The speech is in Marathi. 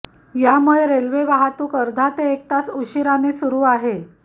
यामुळे रेल्वे वाहतुकीला अर्धा ते एक तास उशिराने सुरू आहे